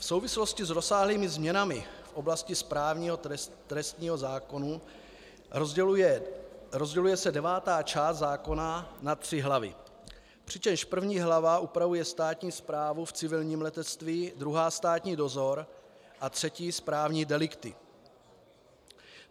V souvislosti s rozsáhlými změnami v oblasti správního trestního zákona rozděluje se devátá část zákona na tři hlavy, přičemž první hlava upravuje státní správu v civilním letectví, druhá státní dozor a třetí správní delikty.